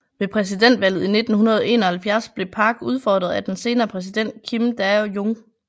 Ved præsidentvalget i 1971 blev Park udfordret af den senere præsident Kim Dae Jung